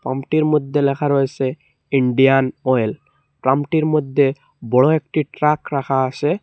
প্রামটির মধ্যে লেখা রয়েসে ইন্ডিয়ান অয়েল প্রামটির মধ্যে বড় একটি ট্রাক রাখা আসে।